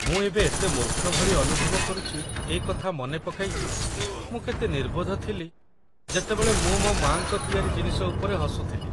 ମୁଁ ଏବେ ଏତେ ମୂର୍ଖ ଭଳି ଅନୁଭବ କରୁଛି ଏ କଥା ମନେ ପକାଇ ଯେ ମୁଁ କେତେ ନିର୍ବୋଧ ଥିଲି ଯେତେବେଳେ ମୁଁ ମୋ ମା'ଙ୍କ ତିଆରି ଜିନିଷ ଉପରେ ହସୁଥିଲି।